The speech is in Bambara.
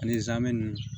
Ani zamɛ ninnu